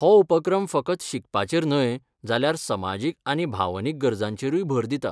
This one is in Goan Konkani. हो उपक्रम फकत शिकपाचेर न्हय जाल्यार समाजीक आनी भावनीक गरजांचेरूय भर दिता.